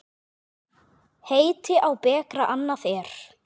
Heiti á bekra annað er.